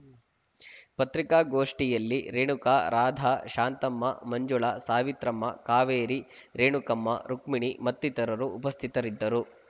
ಪತ್ರಿಕಾಗೋಷ್ಠಿಯಲ್ಲಿ ರೇಣುಕಾ ರಾಧ ಶಾಂತಮ್ಮ ಮಂಜುಳ ಸಾವಿತ್ರಮ್ಮ ಕಾವೇರಿ ರೇಣುಕಮ್ಮ ರುಕ್ಷ್ಮಿಣಿ ಮತ್ತಿತರರು ಉಪಸ್ಥಿತರಿದ್ದರು